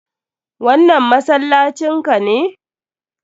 Wannan masallacin ka ne?